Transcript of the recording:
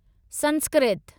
Sanskrit